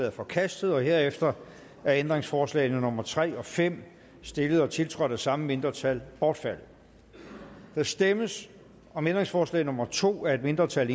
er forkastet herefter er ændringsforslag nummer tre og fem stillet og tiltrådt af det samme mindretal bortfaldet der stemmes om ændringsforslag nummer to af et mindretal